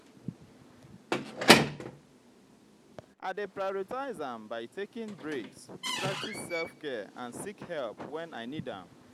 i dey prioritize am by taking breaks practice self-care and seek help when i need am.